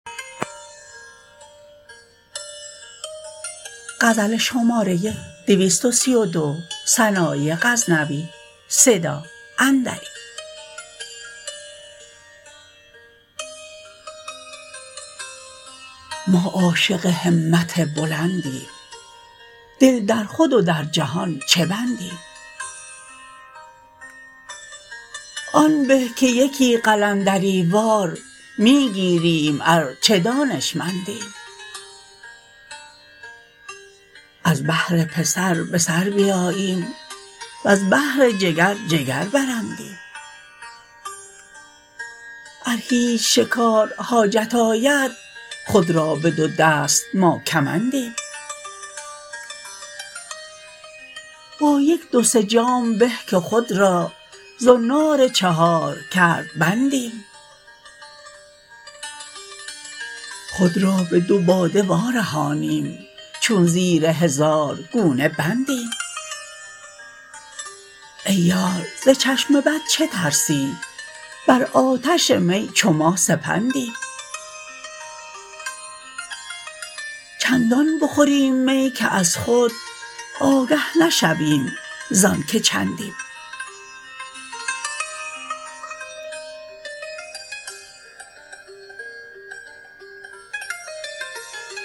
ما عاشق همت بلندیم دل در خود و در جهان چه بندیم آن به که یکی قلندری وار می گیریم ار چه دانشمندیم از بهر پسر به سر بیاییم وز بهر جگر جگر برندیم ار هیچ شکار حاجت آید خود را به دو دست ما کمندیم با یک دو سه جام به که خود را زنار چهار کرد بندیم خود را به دو باده وارهانیم چون زیر هزار گونه بندیم ای یار ز چشم بد چه ترسی بر آتش می چو ما سپندیم چندان بخوریم می که از خود آگه نشویم زان که چندیم